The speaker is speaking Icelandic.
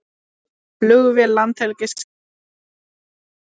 Flugvél Landhelgisgæslunnar lendir í fyrramálið